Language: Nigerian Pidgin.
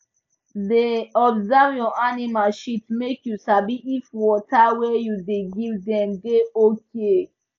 da observe your animal shit make you sabi if water wey you da give dem da okay